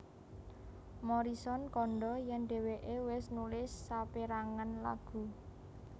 Morrison kandha yen dheweke wis nulis saperangan lagu